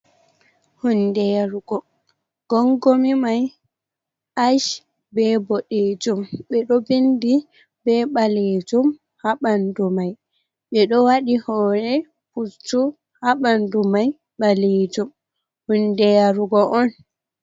Hunde yarugo, gongomi mai ach, be boɗejum, ɓe ɗo vindi be ɓalejum ha ɓanɗu mai, ɓe ɗo waɗi hore pucchu ha ɓanɗu mai ɓalejum, hunde yarugo on.